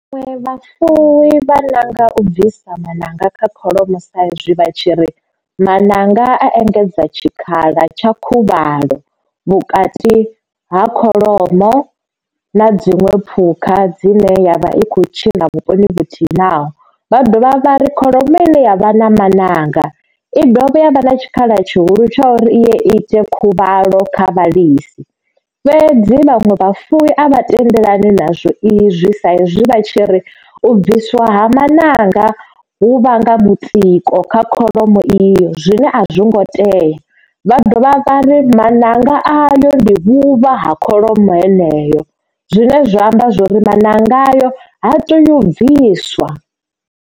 Vhaṅwe vhafuwi vha nanga u bvisa maṋanga kha kholomo sa izwi vha tshi ri maṋanga a engedza tshikhala tsha khuvhalo vhukati ha kholomo na dziṅwe phukha dzine yavha i kho tshila vhuponi vhuthihi naho. Vha dovha vha ri kholomo ine yavha na maṋanga i dovha ya vha na tshikhala tshihulu tsha uri i ite khuvhalo kha vhalisa fhedzi vhaṅwe vhafuwi a vha tendelani na zwo izwi sa izwi vha tshi ri u bviswa maṋanga hu vhanga mutsiko kha kholomo iyo zwine azwo ngo teya vha dovha vhari maṋanga ayo ndi vhuvha ha kholomo heneyo zwine zwa amba zwori maṋanga ayo ha teyu bviswa.